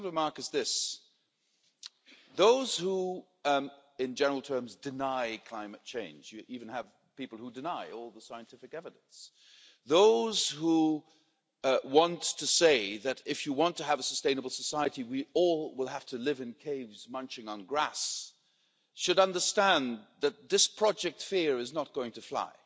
My second remark is this those who, in general terms, deny climate change you even have people who deny all the scientific evidence those who want to say that if you want to have a sustainable society we all will have to live in caves munching on grass, should understand that this project fear is not going to fly,